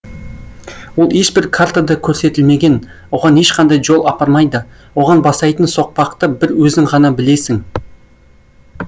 ол ешбір картада көрсетілмеген оған ешқандай жол апармайды оған бастайтын соқпақты бір өзің ғана білесің